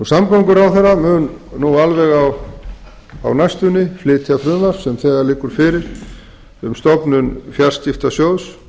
samgönguráðherra mun nú alveg á næstunni flytja frumvarp sem þegar liggur fyrir um stofnun fjarskiptasjóðs